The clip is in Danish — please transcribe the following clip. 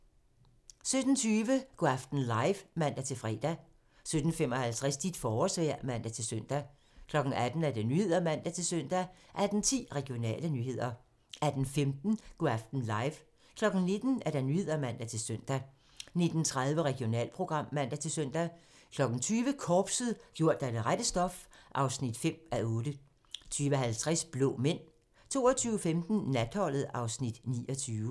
17:20: Go' aften live (man-fre) 17:55: Dit forårsvejr (man-søn) 18:00: Nyhederne (man-søn) 18:10: Regionale nyheder 18:15: Go' aften live 19:00: Nyhederne (man-søn) 19:30: Regionalprogram (man-søn) 20:00: Korpset - gjort af det rette stof (5:8) 20:50: Blå Mænd 22:15: Natholdet (Afs. 29)